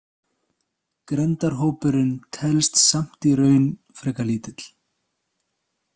Grenndarhópurinn telst samt í raun frekar lítill.